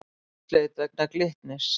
Húsleit vegna Glitnis